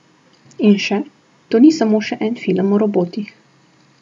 In še: "To ni samo še en film o robotih.